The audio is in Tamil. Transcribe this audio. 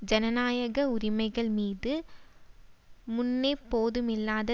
ஜனநாயக உரிமைகள் மீது முன்னெப்போதுமில்லாத